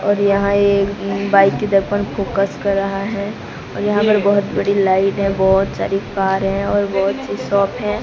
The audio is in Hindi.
और यहां एक बाइक दर्पण फोकस कर रहा है और यहां पे बहोत बड़ी लाइट बहोत सारी कार है और बहोत सी शॉप है।